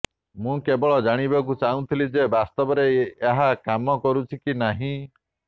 ମୁଁ କେବଳ ଜାଣିବାକୁ ଚାହୁଁଥିଲି ଯେ ବାସ୍ତବରେ ଏହା କାମ କରୁଛି କି ନାହିଁ